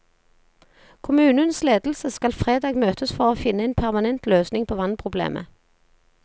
Kommunens ledelse skal fredag møtes for å finne en permanent løsning på vannproblemet.